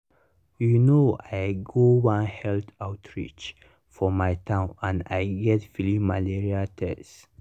you know i go one health outreach for my town and i get free malaria test.